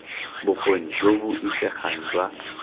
bokgoni jo bo isegang jwa